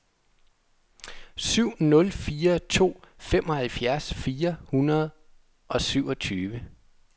syv nul fire to femoghalvfems fire hundrede og syvogtyve